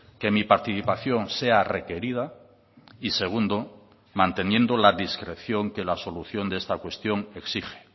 que mi participación sea requerida y segundo manteniendo la discreción que la solución de esta cuestión exige